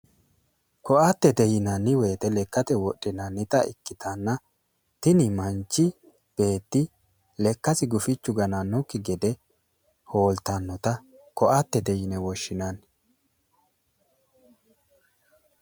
Koattete yinanni woyiite lekkate wodhinannita ikkitanna, kuni manchi beetti lekkasi gufichu ganannosikki gede hooltannota koatete yine woshshinanni.